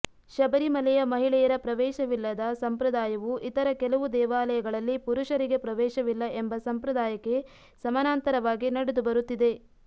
ಶಬರಿಮಲೆಯ ಮಹಿಳೆಯರ ಪ್ರವೇಶವಿಲ್ಲದ ಸಂಪ್ರದಾಯವು ಇತರ ಕೆಲವು ದೇವಾಲಯಗಳಲ್ಲಿ ಪುರುಷರಿಗೆ ಪ್ರವೇಶವಿಲ್ಲ ಎಂಬ ಸಂಪ್ರದಾಯಕ್ಕೆ ಸಮಾನಾಂತರವಾಗಿ ನಡೆದು ಬರುತ್ತಿದೆ